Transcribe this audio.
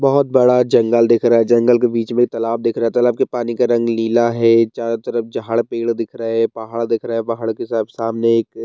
बहोत बड़ा जंगल दिख रहा है जंगल के बीच में तालाब दिख रहा तालाब के पानी का रंग नीला है चारों तरफ झाड़ पेड़ दिख रहे हैं पहाड़ दिख रहा है पहाड़ के सब सामने एक --